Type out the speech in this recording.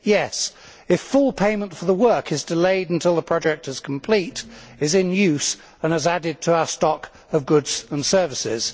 Yes, if full payment for the work is delayed until the project is complete, is in use and has added to our stock of goods and services.